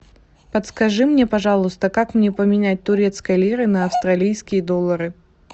подскажи мне пожалуйста как мне поменять турецкие лиры на австралийские доллары